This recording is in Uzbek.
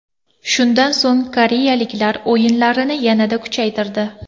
Shundan so‘ng koreyaliklar o‘yinlarini yanada kuchaytirdi.